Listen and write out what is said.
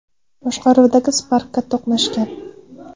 boshqaruvidagi Spark’ga to‘qnashgan.